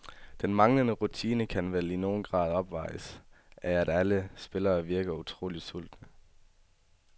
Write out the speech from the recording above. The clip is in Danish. Den manglende rutine kan vel i nogen grad opvejes af, at alle spillere virker utroligt sultne.